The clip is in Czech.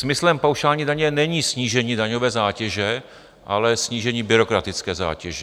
Smyslem paušální daně není snížení daňové zátěže, ale snížení byrokratické zátěže.